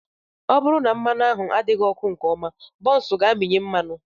Ọ bụrụ na mmanụ ahụ adịghị ọkụ nke ọma, buns ga-amịnye mmanụ.